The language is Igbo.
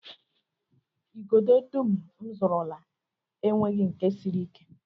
Igodo dum m zụrụla enweghị nke siri ike